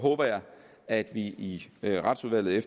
at vi i retsudvalget